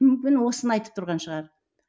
мүмкін осыны айтып тұрған шығар